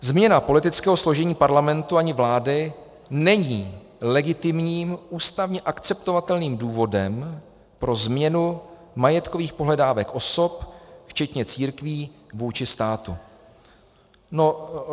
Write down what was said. Změna politického složení Parlamentu ani vlády není legitimním ústavně akceptovatelným důvodem pro změnu majetkových pohledávek osob včetně církví vůči státu.